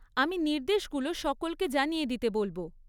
আমি নির্দেশগুলো সকলকে জানিয়ে দিতে বলব।